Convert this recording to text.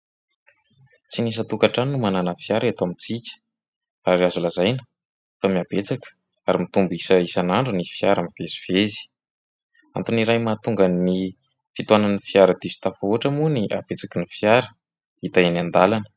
Tsy isan-tokantrano no manana fiara eto amintsika ary azo lazaina fa mihabetsaka ary mitombo isa isan'andro ny fiara mivezivezy antony iray mahatonga ny fitohanan'ny fiara diso tafahoatra moa ny habetsaky ny fiara hita eny an-dalana